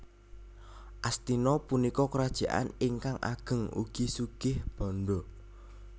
Astina punika krajaan ingkang ageng ugi sugih bandha